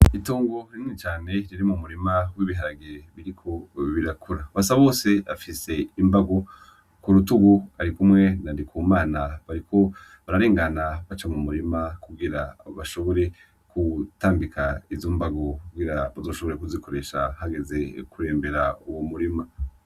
Itongo rinini cane riri mu murima w’ibiharage biriko birakura . Basabose afise imbago ku rutugu arikumwe na Ndikumana bariko bararengana baca mu murima kugira bashobore gutambika izo mbago kugira bazoshobore kuzikoresha hageze kurembera uwo murima.